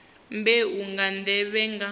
na mbeu nga nḓevhe nga